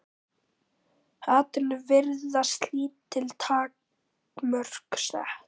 Hatrinu virðast lítil takmörk sett.